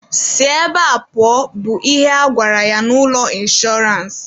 Si ebe a pụọ! bụ ihe a gwara ya n'ụlọ inshọrance.